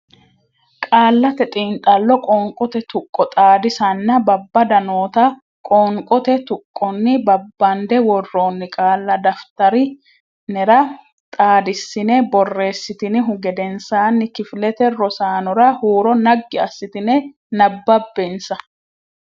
Qaallate Xiinxallo Qoonqote Tuqqo Xaadisanna Babbada noota qoonqote tuqqonni babbande worroonni qaalla daftari nera xaadissine borreessitinihu gedensaanni kifilete rosaanora huuro naggi assitine nabbabbensa.